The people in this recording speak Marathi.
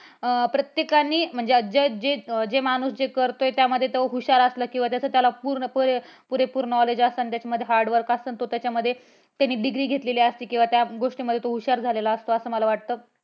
अं प्रत्यकाने म्हणजे, जे जे माणूस जे करतोय आहे किंवा त्याच्यामध्ये तो हुशार असला किंवा त्याच्यामध्ये त्याला पूर्णपणे पुरेपूर knowledge असन त्याच्यामध्ये hard work असन तो त्याच्यामध्ये त्याने degree घेतलेली असती किंवा त्या गोष्टीमध्ये तो हुशार झालेला असतो असे मला वाटतं